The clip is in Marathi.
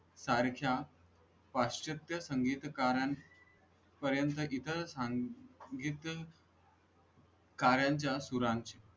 सारख्या पाश्चात्य संगीत कारण पर्यंत गीतं सांगितलं कारण च्या सुरांची.